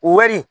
Wari